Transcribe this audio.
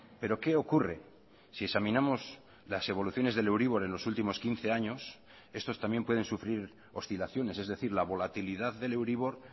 pero qué ocurre si examinamos las evoluciones del euribor en los últimos quince años estos también pueden sufrir oscilaciones es decir la volatilidad del euribor